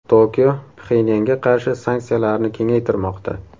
Tokio Pxenyanga qarshi sanksiyalarni kengaytirmoqda.